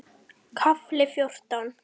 KAFLI FJÓRTÁN